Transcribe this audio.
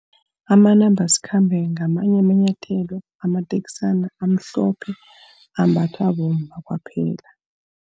Amanambasikhambe ngamanye amanyathelo, amateksana amhlophe. Ambathwa bomma kwaphela.